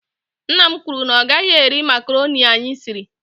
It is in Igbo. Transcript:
Nna m kwuru na ọ gaghị eri makroni anyị siri.